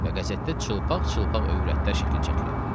Və qəzetdə çılpaq-çılpaq övrətlər şəkli çəkilib.